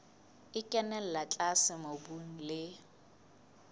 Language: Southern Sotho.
e kenella tlase mobung le